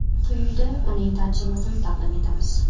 Quyida uning tarjimasini taqdim etamiz.